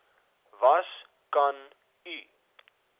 was kan u